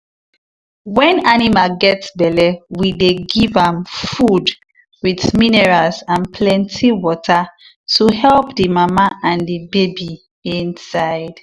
when animal get belle we dey give am food with minerals and plenty water to help the mama and the baby inside.